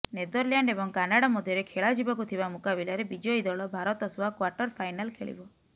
Netherland ଏବଂ Canada ମଧ୍ୟରେ ଖେଳାଯିବାକୁ ଥିବା ମୁକାବିଲାରେ ବିଜୟୀ ଦଳ ଭାରତ ସହ କ୍ୱାର୍ଟରଫାଇନାଲ ଖେଳିବ